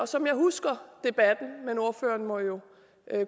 som jeg husker debatten ordføreren må jo